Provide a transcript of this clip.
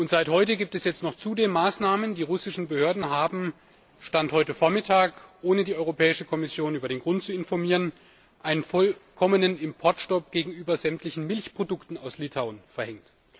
Seit heute gibt es jetzt noch zudem Maßnahmen Die russischen Behörden haben Stand heute Vormittag ohne die Europäische Kommission über den Grund zu informieren, einen vollkommenen Importstopp gegenüber sämtlichen Milchprodukten aus Litauen verhängt.